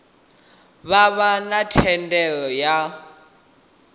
vha vha na thendelo ya